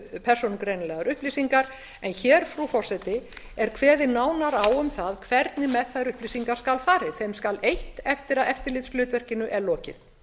persónugreinanlegar upplýsingar en hér frú forseti er kveðið nánar á um það hvernig með þær upplýsingar skal farið þeim skal eytt eftir að eftirlitshlutverkinu er lokið